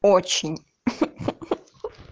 очень хи-хи